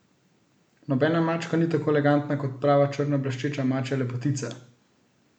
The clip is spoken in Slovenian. Nobena mačka ni tako elegantna kot prav črna bleščeča mačja lepotica.